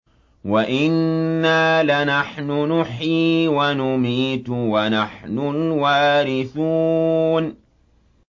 وَإِنَّا لَنَحْنُ نُحْيِي وَنُمِيتُ وَنَحْنُ الْوَارِثُونَ